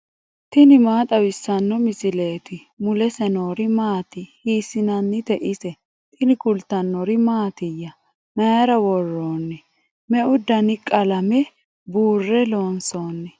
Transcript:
tini maa xawissanno misileeti ? mulese noori maati ? hiissinannite ise ? tini kultannori mattiya? Mayiira woroonni? Meu danni qalame buure loonsoonni?